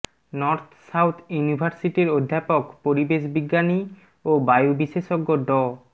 north south ইউনিভার্সিটির অধ্যাপক পরিবেশ বিজ্ঞানী ও বায়ু বিশেষজ্ঞ ড